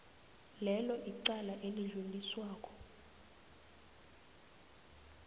lelo icala elidluliswako